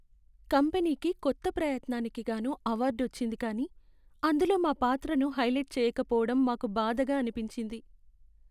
కంపెనీకి కొత్త ప్రయత్నానికి గాను అవార్డు వచ్చింది కాని అందులో మా పాత్రను హైలైట్ చేయకపోవడం మాకు బాధగా అనిపించింది.